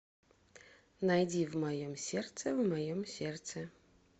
найди в моем сердце в моем сердце